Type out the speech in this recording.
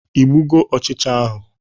Igbugo ọchịcha ahụ?